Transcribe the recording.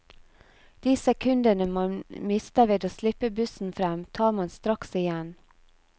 De sekundene man mister ved å slippe bussen frem, tar man straks igjen.